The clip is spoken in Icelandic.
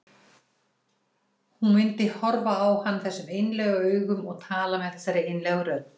Hún myndi horfa á hann þessum einlægu augum og tala með þessari einlægu rödd.